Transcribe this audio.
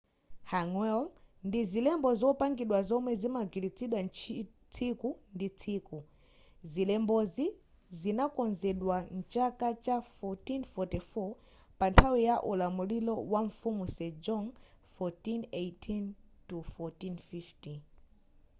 hangeul ndi zilembo zopangidwa zomwe zimagwiritsidwa tsiku ndi tsiku. zilembozi zinakonzedwa mchaka cha 1444 pa nthawi ya ulamuliro wa mfumu sejong 1418-1450